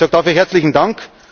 Ich sage dafür herzlichen